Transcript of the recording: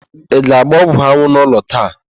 Ị ga-agba ọgwụanwụ n'ụlọ taa?